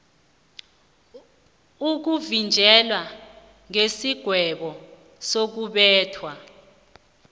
ukuvinjelwa kwesigwebo sokubetha